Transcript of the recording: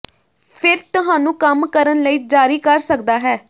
ਫਿਰ ਤੁਹਾਨੂੰ ਕੰਮ ਕਰਨ ਲਈ ਜਾਰੀ ਕਰ ਸਕਦਾ ਹੈ